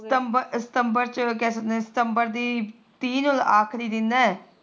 ਸਤੰਬਰ ਸਤੰਬਰ ਕਿਆ ਕਹਿੰਦੇ ਸਤੰਬਰ ਦੀ ਤਿਹ ਆਖਰੀ ਦਿਨ ਐ